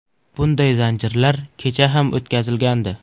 Bunday zanjirlar kecha ham o‘tkazilgandi.